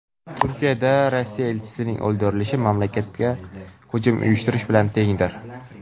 Turkiyada Rossiya elchisining o‘ldirilishi mamlakatga hujum uyushtirish bilan tengdir.